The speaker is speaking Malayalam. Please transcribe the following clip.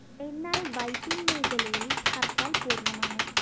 എന്നാല്‍ വൈപ്പിന്‍ മേഖലയില്‍ ഹര്‍ത്താല്‍ പൂര്‍ണ്ണമാണ്